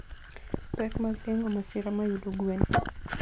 Pek mag geng'o masira mayudo gwen.